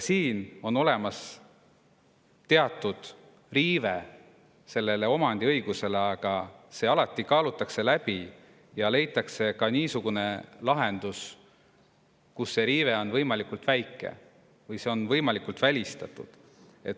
Siin on olemas teatud riive omandiõigusele, aga see kaalutakse alati läbi ja leitakse niisugune lahendus, kus see riive on võimalikult väike või see on välistatud.